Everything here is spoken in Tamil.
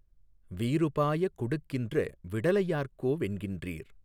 வீறு பாயக் கொாடுக்கின்ற விடலை யார்கோ வென்கின்றீர்